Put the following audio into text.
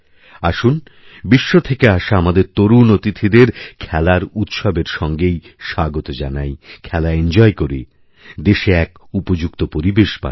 আসুন বিশ্ব থেকে আসা আমাদের তরুণ অতিথিদের খেলার উৎসবের সঙ্গেইস্বাগত জানাই খেলা এনজয় করি দেশে এক উপযুক্ত পরিবেশ বানাই